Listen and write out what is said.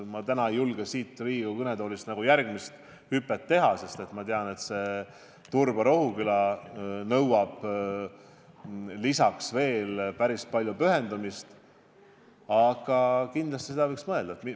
Ma täna ei julge siit Riigikogu kõnetoolist nagu järgmist hüpet teha, sest ma tean, et Turba–Rohuküla liin nõuab veel päris palju pühendumist, aga kindlasti sellele võiks mõelda.